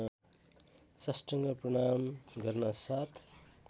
साष्टाङ्ग प्रणाम गर्नासाथ